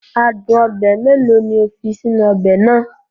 Adun obe mélòó ni o fi sínú ọbẹ̀ náà?